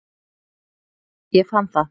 Ég fann það.